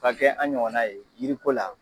Ka kɛ an ɲɔgɔna ye jiriko la